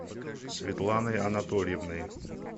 светланой анатольевной